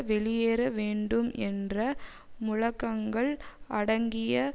வெளியேற வேண்டும் என்ற முழக்கங்கள் அடங்கிய